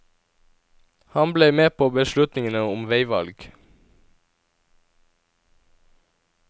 Han ble med på beslutningene om veivalg.